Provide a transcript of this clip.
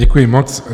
Děkuji moc.